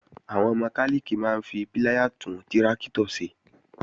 Àwọn mọkálìkì máa ń fi píláyà tún tráktọ̀ ṣe